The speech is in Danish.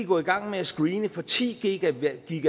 gå i gang med at screene for ti gw